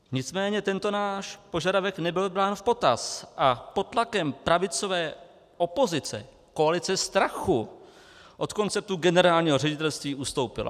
Nicméně tento náš požadavek nebyl brán v potaz a pod tlakem pravicové opozice koalice strachu od konceptu generálního ředitelství ustoupila.